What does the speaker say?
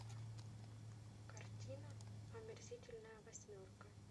картина омерзительная восьмерка